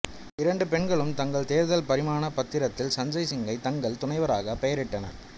இரண்டு பெண்களும் தங்கள் தேர்தல் பிரமாணப் பத்திரத்தில் சஞ்சய் சிங்கை தங்கள் துணைவராக பெயரிட்டனர்